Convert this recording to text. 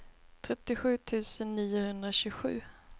trettiosju tusen niohundratjugosju